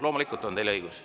Loomulikult on teil see õigus.